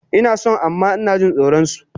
Inason amma inajin tsoron su